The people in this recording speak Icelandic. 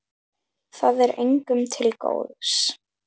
Það er engum til góðs.